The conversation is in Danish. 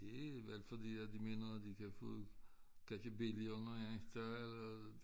Det er vel fordi at de mener at de kan få kan give billigere nogle andre steder